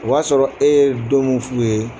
O y'a sɔrɔ e ye don muinf'u ye